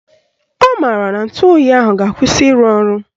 Ọ maara na ntụoyi ahụ ga-akwụsị ịrụ ọrụ